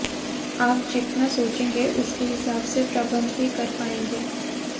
आप जितना सोचेंगे उसके हिसाब से प्रबंध भी कर पायेंगे